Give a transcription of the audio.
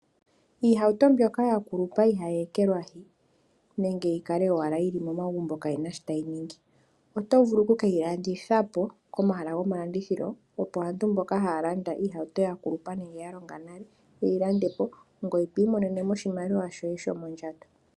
Iihauto mbyoka ya kulupa iha yi ekelwahi nenge yi kale owala yili momagumbo kaayi na shi tayi ningi oto vulu okuke yilandithapo komahala gomalandithilo opo aantu mboka haya landa iihauto ya kulupa nenge ya longa nale yeyi landepo ngoye twiimonenemo oshimaliwa shoye shomondjato.